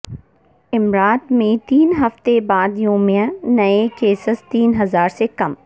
امارات میں تین ہفتے بعد یومیہ نئے کیسز تین ہزار سے کم